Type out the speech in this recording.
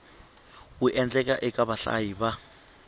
wu endlaka eka vahlayi va